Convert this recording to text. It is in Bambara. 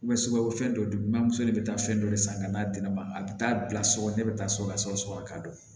fɛn dɔ don bamuso de bɛ taa fɛn dɔ de san ka d'a di ne ma a bɛ taa bila so ne bɛ taa so ka sɔgɔ sɔgɔ k'a don